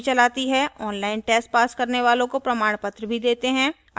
online test pass करने वालों को प्रमाणपत्र भी देते हैं